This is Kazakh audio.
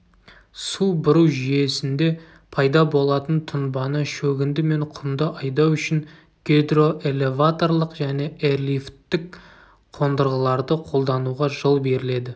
су бұру жүйесінде пайда болатын тұнбаны шөгінді мен құмды айдау үшін гидроэлеваторлық және эрлифттік қондырғыларды қолдануға жол беріледі